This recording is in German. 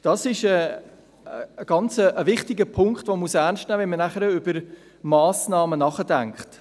Dies ist ein äusserst wichtiger Punkt, den man ernst nehmen muss, wenn man über Massnahmen nachdenkt.